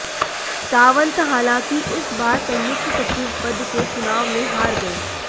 सावंत हालांकि इस बार संयुक्त सचिव पद के चुनाव में हार गये